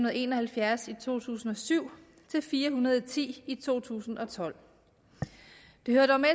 og en og halvfjerds i to tusind og syv til fire hundrede og ti i to tusind og tolv det hører dog med